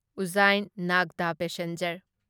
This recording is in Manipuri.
ꯎꯖꯖꯥꯢꯟ ꯅꯥꯒꯗ ꯄꯦꯁꯦꯟꯖꯔ